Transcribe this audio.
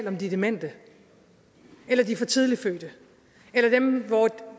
om de demente eller de for tidligt fødte eller dem hvor